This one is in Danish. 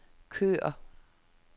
kør